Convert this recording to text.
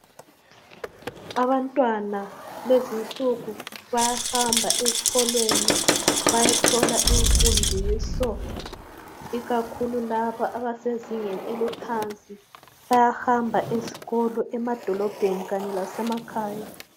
Abantwana lezinsuku bayahamba ezikolweni bayathola imfundiso. Ikakhulu labo abasezingeni eliphansi bayahamba ezikolo emadolobheni kanye lase makhaya